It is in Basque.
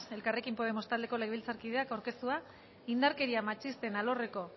elkarrekin podemos taldeko legebiltzarkideak aurkeztua indarkeria matxisten alorreko